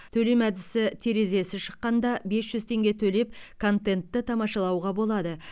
төлем әдісі терезесі шыққанда бес жүз теңге төлеп контентті тамашалауға болады